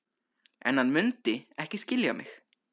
En hann mundi ekki skilja mig.